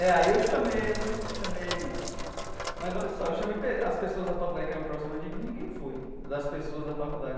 É, aí eu chamei né chamei, mas olha só, eu chamei pe as pessoas da faculdade que eram próximas de mim e ninguém foi, das pessoas da faculdade.